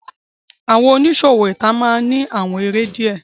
Awọn oniṣowo ita maa n ni awọn ere diẹ